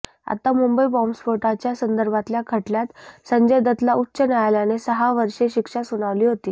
आता मुंबई बॉम्बस्फोटाच्या संदर्भातल्या खटल्यात संजय दत्तला उच्च न्यायालयाने सहा वष्रे शिक्षा सुनावली होती